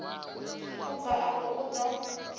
u bva afho u ḓo